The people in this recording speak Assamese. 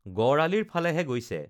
গড়আলিৰ ফালেহে গৈছে